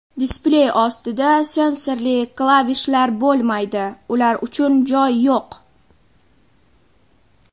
Displey ostida sensorli klavishlar bo‘lmaydi ular uchun joy yo‘q.